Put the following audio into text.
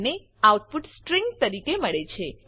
આપણને output string તરીકે મળે છે